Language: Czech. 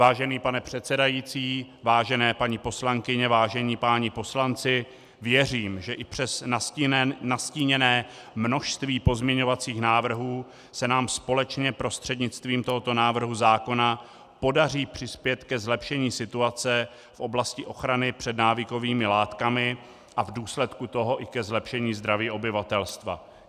Vážený pane předsedající, vážené paní poslankyně, vážení páni poslanci, věřím, že i přes nastíněné množství pozměňovacích návrhů se nám společně prostřednictvím tohoto návrhu zákona podaří přispět ke zlepšení situace v oblasti ochrany před návykovými látkami a v důsledku toho i ke zlepšení zdraví obyvatelstva.